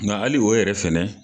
Nka hali o yɛrɛ fɛnɛ.